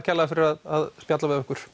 kærlega fyrir að spjalla við okkur